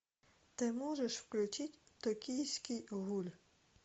ты можешь включить токийский гуль